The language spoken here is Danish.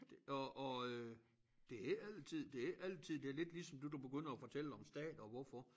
Og og øh det heller ikke altid det ikke altid det lidt ligesom det du begynder at fortælle om stater og hvorfor